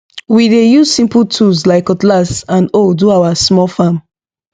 we dey use simple tools like cutlass and hoe do our small farm